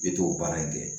I bɛ t'o baara in kɛ